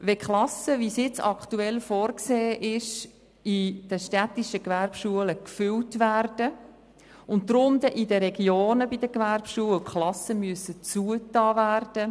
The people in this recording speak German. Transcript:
Gegenwärtig ist vorgesehen, die Klassen in den städtischen Gewerbeschulen zu füllen, und deshalb müssen bei den Gewerbeschulen in den Regionen Klassen geschlossen werden.